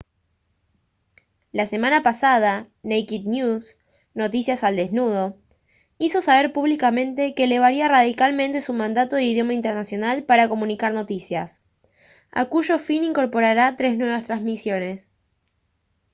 la semana pasada naked news noticias al desnudo hizo saber públicamente que elevaría radicalmente su mandato de idioma internacional para comunicar noticias a cuyo fin incorporará tres nuevas transmisiones